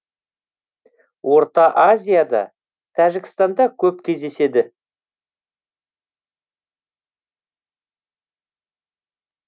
орта азияда тәжікстанда көп кездеседі